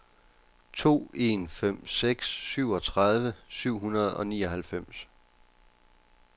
to en fem seks syvogtredive syv hundrede og nioghalvfems